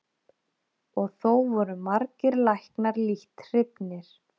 Og þó voru margir læknar lítt hrifnir.